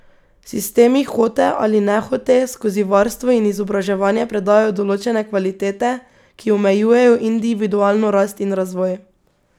Sistemi hote ali nehote skozi varstvo in izobraževanje predajajo določene kvalitete, ki omejujejo individualno rast in razvoj.